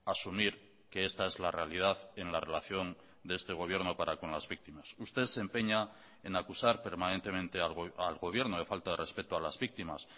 asumir que esta es la realidad en la relación de este gobierno para con las víctimas usted se empeña en acusar permanentemente al gobierno de falta de respeto a las víctimas